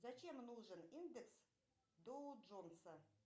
зачем нужен индекс доу джонса